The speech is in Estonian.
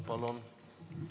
Palun!